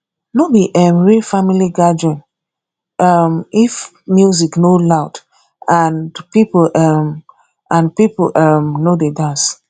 no be um real family gathering um if music no loud and people um and people um no dey dance